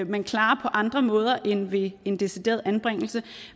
man klarer på andre måder end ved en decideret anbringelse